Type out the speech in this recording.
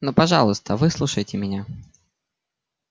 ну пожалуйста выслушайте меня